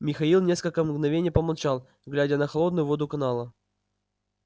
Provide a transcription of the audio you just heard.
михаил несколько мгновений помолчал глядя на холодную воду канала